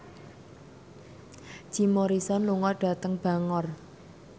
Jim Morrison lunga dhateng Bangor